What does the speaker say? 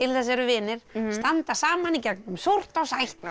þess eru vinir standa saman í gegnum súrt og sætt